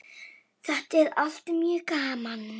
Þetta er allt mjög gaman.